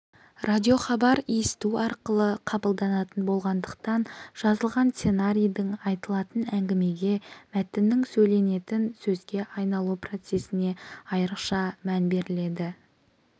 радиохабар есту арқылы қабылданатын болғандықтан жазылған сценарийдің айтылатын әңгімеге мәтіннің сөйленетін сөзге айналу процесіне айрықша мән беріледі